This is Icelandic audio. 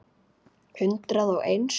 Hundrað og eins.